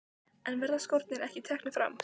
En verða skórnir ekki teknir fram?